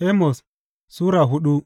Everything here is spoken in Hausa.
Amos Sura hudu